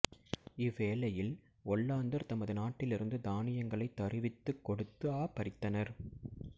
இவ் வேளையில் ஒல்லாந்தர் தமது நாட்டிலிருந்து தானியங்களைத் தருவித்துக் கொடுத்துத் தாபரித்தனர்